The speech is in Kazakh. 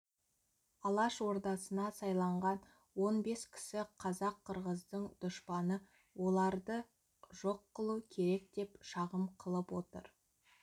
алаш ордасына сайланған он бес кісі қазақ-қырғыздың дұшпаны оларды жоқ қылу керек деп шағым қылып отыр